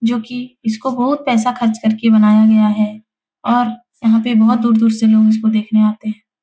जो कि इसको बहुत पैसा खर्च करके बनाया गया है और यहाँ पे बहुत दूर-दूर से लोग इसको देखने आते --